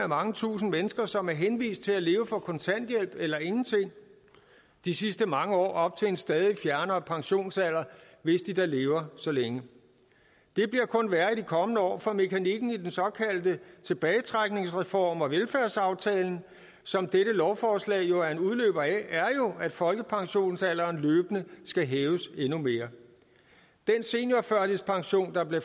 mange tusinde mennesker som er henvist til at leve for kontanthjælp eller ingenting de sidste mange år op til en stadig fjernere pensionsalder hvis de da lever så længe det bliver kun værre i de kommende år for mekanikken i den såkaldte tilbagetrækningsreform og velfærdsaftalen som dette lovforslag jo er en udløber af er at folkepensionsalderen løbende skal hæves endnu mere den seniorførtidspension der blev